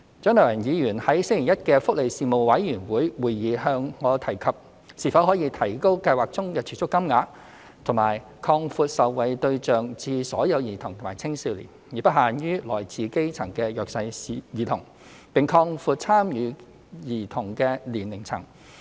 蔣麗芸議員在星期一的福利事務委員會會議向我提及是否可以提高計劃中的儲蓄金額及擴闊受惠對象至所有兒童及青少年，而不限於來自基層的弱勢兒童，並擴闊參與兒童的年齡層。